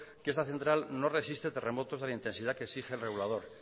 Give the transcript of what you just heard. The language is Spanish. que esta central no resiste terremotos de la intensidad que exige el regulador